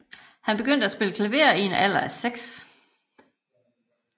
Han begyndte at spille klaver i en alder af seks